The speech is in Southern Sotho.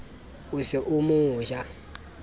o se o mo ja